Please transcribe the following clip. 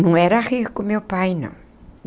Não era rico, meu pai, não.